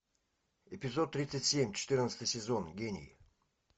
эпизод тридцать семь четырнадцатый сезон гений